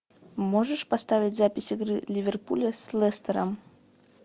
можешь поставить запись игры ливерпуля с лестером